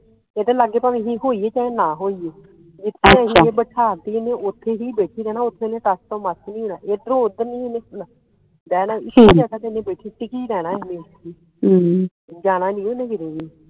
ਇਹਦੇ ਲਾਗੇ ਭਾਵੇ ਅਸੀ ਹੋਈਏ ਭਾਵੇ ਨਾ ਹੋਈਏ ਜਿਥੇ ਅਸੀ ਬਿਠਾਤੀ ਇਹਨੇ ਉੱਥੇ ਹੀ ਬੈਠੀ ਰਹਿਣਾ ਉੱਥੋਂ ਇਹਨੇ ਟਸ ਤੋਂ ਮਸ ਨਹੀਂ ਹੋਣਾ ਇਧਰੋਂ ਓਧਰ ਨਹੀਂ ਇਹਨੇ ਹੋਣਾ ਟਿਕੀ ਰਹਿਣਾ ਇਹਨੇ ਜਾਣਾ ਨਹੀਂ ਓਹਨੇ ਕਿਤੇ ਵੀ।